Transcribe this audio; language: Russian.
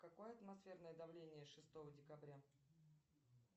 какое атмосферное давление шестого декабря